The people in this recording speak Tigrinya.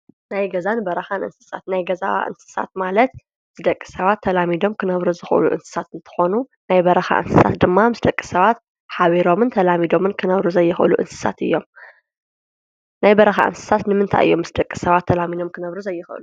ናይ ገዛን በረካን እንስሳት፡ ናይ ገዛ እንስሳት ማለት ምስ ደቂ ሰባት ተላሚዶም ክነብሩ ዝክእሉ እንስሳት እንትኮኑ፣ ናይ በረካ እንስሳት ድማ ምስ ደቂ ሰባት ሓቢሮምን ተላሚዶምን ክነብሩ ዘይክእሉ እንስሳት እዮም። ናይ በረካ እንስሳት ንምንታይ እዮም ምስ ደቂ ሰባት ተላሚዶም ክነብሩ ዘይክእሉ ?